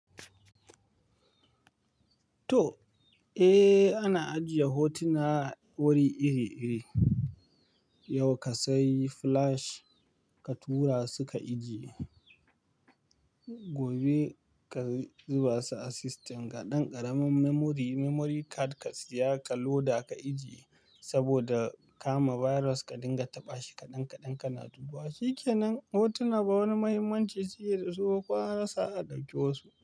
To, eh ana ajiye hotuna wuri iri-iri. Yau ka sayi flash ka tura su ka ijiye, gobe ka zuba su a system. Ga ɗan ƙaramin memory, memory card ka siya ka loda ka ijiye saboda kama virus ka dinga taɓa shi kaɗan kaɗan kana dubawa. Shikenan hotuna ba wani mahimmanci suke da su ba ko an rasa za'a ɗauke wasu.